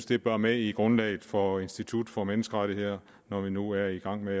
det bør med i grundlaget for institut for menneskerettigheder når vi nu er i gang med